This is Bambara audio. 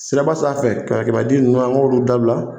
Siraba sanfɛ kɛmɛ kɛmɛ di ninnu an k'olu dabila.